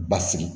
Basigi